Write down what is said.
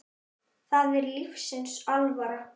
Það er lífsins alvara.